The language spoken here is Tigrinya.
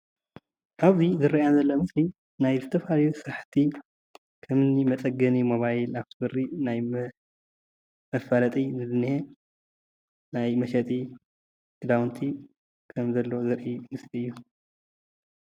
እብዙዬ ዝረአየና ዘሎ ምስሊ ናይ ዝተፈላለዩ ስራሕቲ ከምኒ መፀገኒ ሞባይል ኣፋቲ በሪ ናይ መፋለጢ እዩ ዝኒሆ። ናይ መሸጢ ኽዳውንቲ ከም ዘሎ ዘርእየና ዘሎ ምስሊ እዩ።